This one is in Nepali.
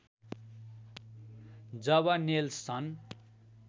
जब नेल्सन